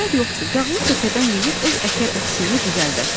Zərər yoxdur, yağlı kökədən yeyib öz əkər əksiyini düzəldər.”